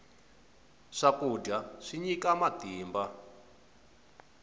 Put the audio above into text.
swakudya swi nyika matimba